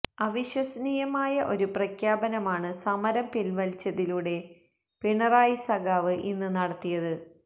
അവിശ്വസനീയമായ ഒരു പ്രഖ്യാപനമാണ് സമരം പിൻവലിച്ചതിലൂടെ പിണറായി സഖാവ് ഇന്ന് നടത്തിയത്